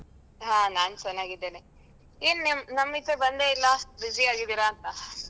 ಹ ನಾನ್ ಚೆನ್ನಾಗಿದ್ದೇನೆ ಏನ್ ನಮ್~ ನಮ್ಮಿಚೆ ಬಂದೇ ಇಲ್ಲ busy ಯಾಗಿ ಇದೀರಾ ಅಂತ.